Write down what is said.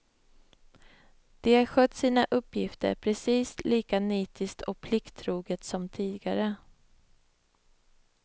De har skött sina uppgifter precis lika nitiskt och plikttroget som tidigare.